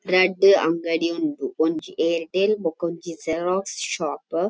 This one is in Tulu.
ರಡ್ಡ್ ಅಂಗಡಿ ಉಂಡು ಒಂಜಿ ಏರ್ ಟೆಲ್ ಬೊಕೊಂಜಿ ಜೆರಾಕ್ಸ್ ಶಾಪ್ .